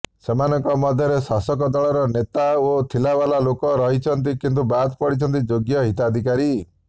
ସୋମନଙ୍କ ମଧ୍ୟରେ ଶାସକଦଳର ନେତା ଓ ଥିଲା ବାଲା ଲୋକ ରହିଛନ୍ତି କିନ୍ତୁ ବାଦ ପଡିଛନ୍ତି ଯୋଗ୍ୟ ହିତାଧିକାରୀ